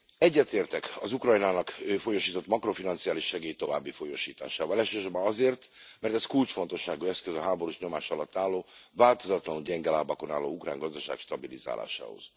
Egyetértek az Ukrajnának folyósított makrofinanciális segély további folyósításával, elsősorban azért, mert ez kulcsfontosságú eszköze a háborús nyomás alatt álló, változatlanul gyenge lábakon álló ukrán gazdaság stabilizálásához.